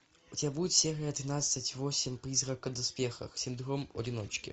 у тебя будет серия тринадцать восемь призрака в доспехах синдром одиночки